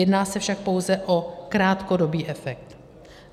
Jedná se však pouze o krátkodobý efekt.